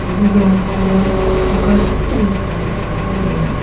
yede du ghor buga chutu ekta dikhi asey.